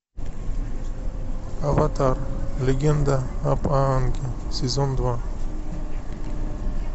аватар легенда об аанге сезон два